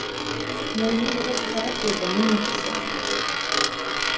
мойнын бұрып қарап еді міне қызық